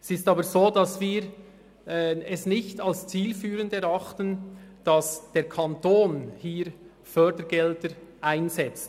Wir erachten es aber nicht als zielführend, dass der Kanton hier Fördergelder einsetzt.